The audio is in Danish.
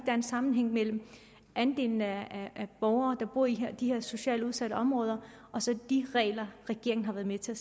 er en sammenhæng mellem andelen af borgere der bor i de her socialt udsatte områder og så de regler regeringen har været med til at